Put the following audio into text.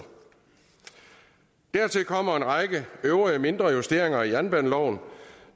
dertil kommer en række øvrige mindre justeringer af jernbaneloven